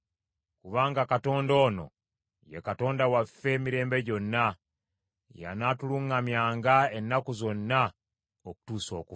Kubanga Katonda ono, ye Katonda waffe emirembe gyonna; y’anaatuluŋŋamyanga ennaku zonna okutuusa okufa.